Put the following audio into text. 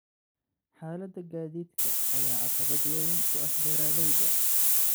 Xaaladda gaadiidka ayaa caqabad weyn ku ah beeralayda.